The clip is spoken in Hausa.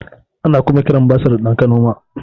Ana kuma kiran basir da ɗan kanoma